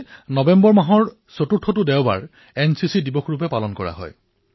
নৱেম্বৰ মাহৰ চতুৰ্থটো দেওবাৰে প্ৰতিবছৰে এনচিচি দিৱস হিচাপে পালন কৰা হয়